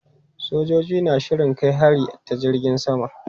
Sojojin na shirin kai hari ta jirgin sama.